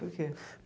Por quê?